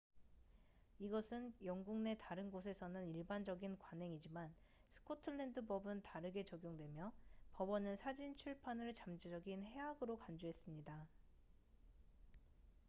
이것은 영국 내 다른 곳에서는 일반적인 관행이지만 스코틀랜드 법은 다르게 적용되며 법원은 사진 출판을 잠재적인 해악으로 간주했습니다